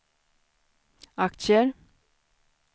aktier